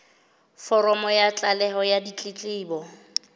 foromo ya tlaleho ya ditletlebo